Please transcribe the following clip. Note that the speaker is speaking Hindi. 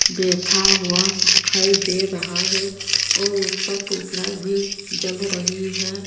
बैठा हुआ दिखाई दे रहा है और ऊपर ट्यूबलाइट भी जल रही है।